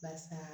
Barisa